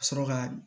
Ka sɔrɔ ka